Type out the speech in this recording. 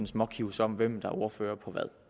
småkives om hvem der er ordfører